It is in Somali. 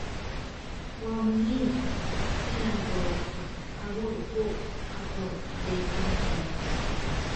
Waa muhiim inaad doorato abuur ku habboon deegaankaaga.